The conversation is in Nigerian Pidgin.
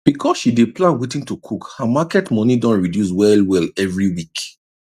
because she dey plan wetin to cook her market money don reduce wellwell every week